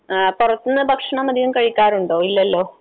ആ പുറത്തുനിന്ന് ഭക്ഷണം അധികം കഴിക്കാറുണ്ടോ? ഇല്ലല്ലോ.